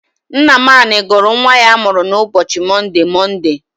Nnamani gụrụ nnwa ya a mụrụ n'ụbochi Monde, Monde.